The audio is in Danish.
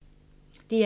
DR1